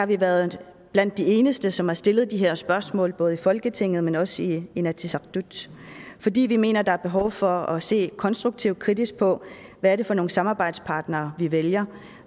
vi været de eneste som har stillet de her spørgsmål både i folketinget men også i inatsisartut fordi vi mener der er behov for at se konstruktivt kritisk på hvad er det for nogle samarbejdspartnere vi vælger